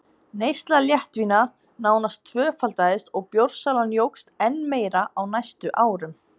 Neysla léttvína nánast tvöfaldaðist og bjórsalan jókst enn meira á næstu árum.